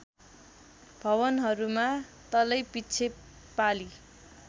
भवनहरूमा तलैपिच्छे पाली